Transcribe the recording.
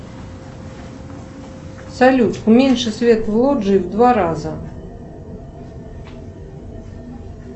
салют уменьши свет в лоджии в два раза